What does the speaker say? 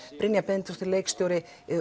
Brynja Benediktsdóttir leikstjóri